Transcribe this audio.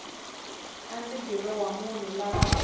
a ndzi dirowa vanhu lava